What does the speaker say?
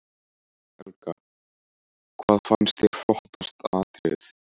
Helga: Hvað fannst þér flottasta atriðið?